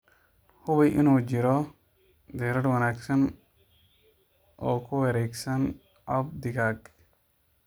Hubi in uu jiro deyrar wanaagsan oo ku wareegsan coop digaagga.